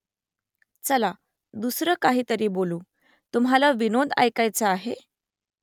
चला , दुसरं काहीतरी बोलू . तुम्हाला विनोद ऐकायाचा आहे ?